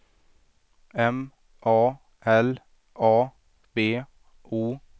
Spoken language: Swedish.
M A L A B O